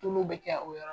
Tulu bɛ kɛ o yɔrɔ